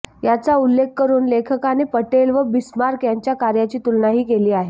याचा उल्लेख करून लेखकाने पटेल व बिस्मार्क यांच्या कार्याची तुलनाही केली आहे